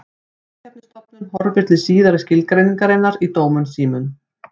Samkeppnisstofnun horfir til síðari skilgreiningarinnar í dómum sínum.